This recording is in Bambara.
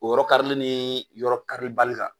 O yɔrɔ karili ni yɔrɔ karili bali kan.